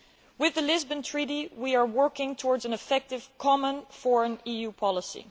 With the Lisbon Treaty, we are working towards an effective common foreign EU policy.